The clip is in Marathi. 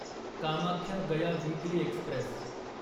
Kamakhya Gaya weekly Express